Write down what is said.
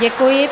Děkuji.